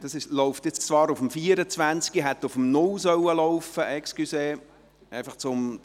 Damit ist dieses Geschäft in die Septembersession verschoben.